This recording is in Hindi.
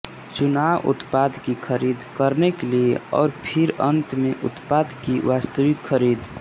चुनाव उत्पाद की खरीद करने के लिए और फिर अंत में उत्पाद की वास्तविक खरीद